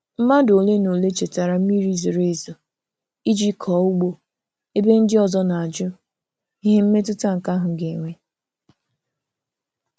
Mmadụ ole na ole chetara mmiri zoro ezo iji kọọ ugbo ebe ndị ọzọ na-ajụ ihe mmetụta nke ahụ ga-enwe.